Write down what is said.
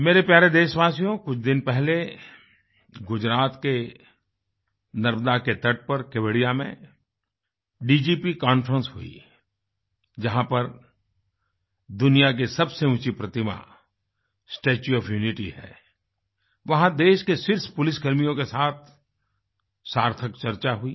मेरे प्यारे देशवासियो कुछ दिन पहले गुजरात के नर्बदा के तट पर केवड़िया मेंDGP conferenceहुई जहाँ पर दुनिया की सबसे ऊँची प्रतिमास्टेच्यू ओएफ यूनिटी है वहाँ देश के शीर्ष पुलिसकर्मियों के साथ सार्थक चर्चा हुई